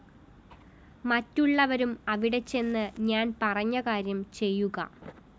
മറ്റുള്ളവരും അവിടെച്ചെന്ന് ഞാൻ പറഞ്ഞ കാര്യം ചെയ്യുക